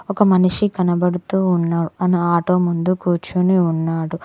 ఒక మనిషి కనపడుతూ ఉన్నావ్ ఆన ఆటో ముందు కూర్చొని ఉన్నాడు.